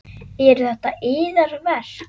Eru þetta yðar verk?